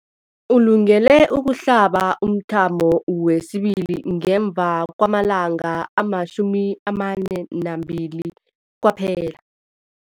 Ulungele ukuhlaba umthamo wesibili ngemva kwama-42 wamalanga kwaphela.